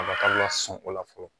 Kabakari lasun o la fɔlɔ